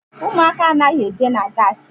Ụmụaka anaghị eje na gaasi.